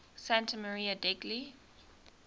santa maria degli